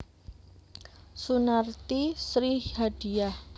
Sunarti Sri Hadiyah